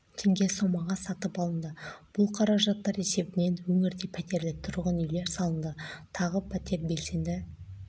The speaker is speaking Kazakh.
теңге сомаға сатып алынды бұл қаражаттар есебінен өңірде пәтерлі тұрғын үйлер салынды тағы пәтер белсенді